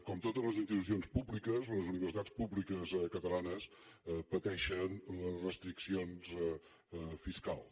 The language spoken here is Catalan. com totes les institucions públiques les universitats públiques catalanes pateixen les restriccions fiscals